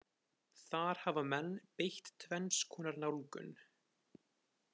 Þar hafa menn beitt tvenns konar nálgun.